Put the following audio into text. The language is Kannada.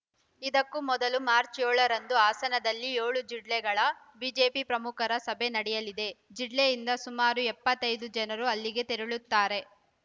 ಇದಕ್ಕೂ ಮೊದಲು ಮಾರ್ಚ್ ಏಳ ರಂದು ಹಾಸನದಲ್ಲಿ ಏಳು ಜಿಲ್ಲೆಗಳ ಬಿಜೆಪಿ ಪ್ರಮುಖರ ಸಭೆ ನಡೆಯಲಿದೆ ಜಿಲ್ಲೆಯಿಂದ ಸುಮಾರು ಎಪ್ಪತ್ತ್ ಐದು ಜನರು ಅಲ್ಲಿಗೆ ತೆರಳುತ್ತಾರೆ